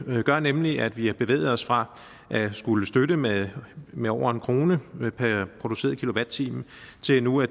gør nemlig at vi har bevæget os fra at skulle støtte med med over en kroner per produceret kilowatt time til nu at